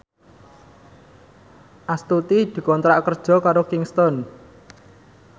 Astuti dikontrak kerja karo Kingston